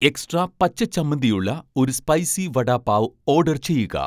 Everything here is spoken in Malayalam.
എക്സ്ട്രാ പച്ച ചമ്മന്തി ഉള്ള ഒരു സ്പൈസി വടാപാവ് ഓഡർ ചെയ്യുക